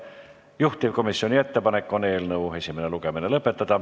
Juhtivkomisjoni ettepanek on eelnõu esimene lugemine lõpetada.